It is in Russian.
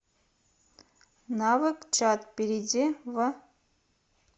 навык чат перейди в